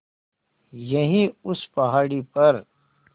यहीं उस पहाड़ी पर